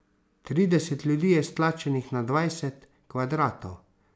Trideset ljudi je stlačenih na dvajset kvadratov.